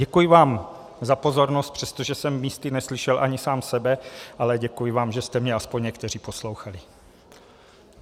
Děkuji vám za pozornost, přestože jsem místy neslyšel ani sám sebe, ale děkuji vám, že jste mě aspoň někteří poslouchali.